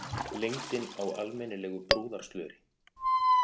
Lengdin á almennilegu brúðarslöri.